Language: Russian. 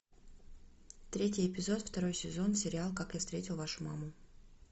третий эпизод второй сезон сериал как я встретил вашу маму